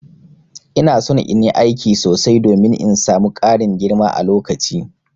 Ina son in yi aiki sosai domin in samu Karin girma a lokaci.